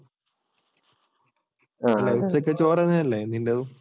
ഉച്ചക്ക് ചോറ് തന്നെയല്ലേ നിൻ്റെതും?